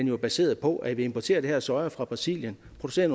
jo er baseret på at vi importerer den her soja fra brasilien og producerer